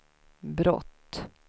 brott